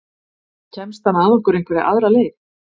Kemst hann að okkur einhverja aðra leið?